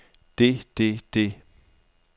det det det